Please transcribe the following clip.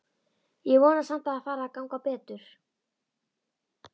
Ég vona samt að fari að ganga betur.